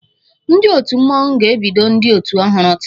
Ndị otu Mmọnwụ ga-ebido ndị otu ọhụrụ taa